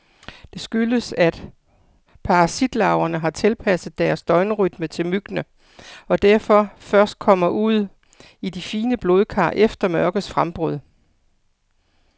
Det skyldes, at parasitlarverne har tilpasset deres døgnrytme til myggene, og derfor først kommer ud i de fine blodkar efter mørkets frembrud.